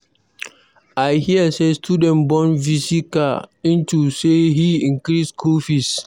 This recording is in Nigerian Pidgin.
I hear say students burn V.C. car unto say he increase school fees.